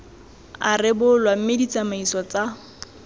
a rebolwa mme ditsamaiso tsa